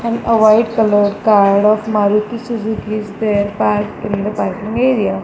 and a white colour car of maruti suzuki is there parked in the parking area.